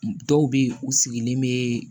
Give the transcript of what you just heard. Dɔw bɛ yen u sigilen bɛ